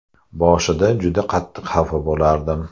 Boshida juda qattiq xafa bo‘lardim.